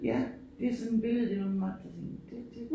Ja det sådan et billede den åbenbart kan det det